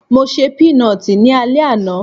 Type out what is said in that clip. Mo ṣe pínọtì ní alẹ́ àná